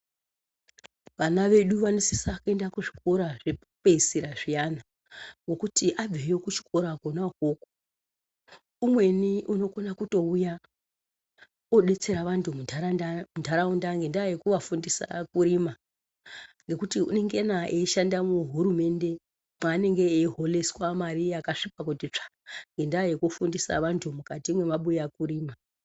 Vana veduu vanosisa kuenda kuzvikora zvekupedzisira zviyana ngekuti abveyo kuchikora kona ukoko umweni unokona kutouya odetsera vantu munharaunda ngendaa yekuvafundisa kurima ngekuti unongena eishande muhurumende mwaanenge eihoreswa mare yakasvipa kutitsvaa ngendaa yekufundisa vanhu mukati mwemabuya kurima.